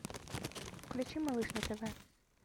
включи малыш на тв